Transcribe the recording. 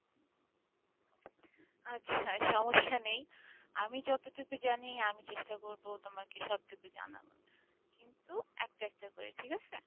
আচ্ছা সমস্যা নেই আমি যতটুকু জানি আমি চেষ্টা করবো তোমাকে সবটুকু জানানোর কিন্তু একটা একটা করে ঠিক আছে?